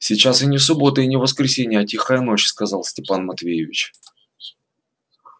сейчас и не суббота и не воскресенье а тихая ночь сказал степан матвеевич